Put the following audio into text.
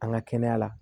An ka kɛnɛya la